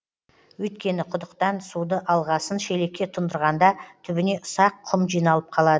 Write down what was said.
өйткені құдықтан суды алғасын шелекке тұндырғанда түбіне ұсақ құм жиналып қалады